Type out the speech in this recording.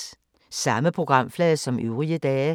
Samme programflade som øvrige dage